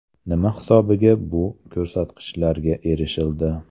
Nima hisobiga bu ko‘rsatkichlarga erishildi?